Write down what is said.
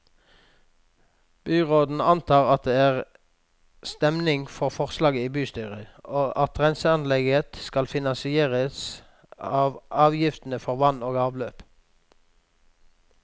Byråden antar at det er stemning for forslaget i bystyret, og at renseanlegget skal finansieres av avgiftene for vann og avløp.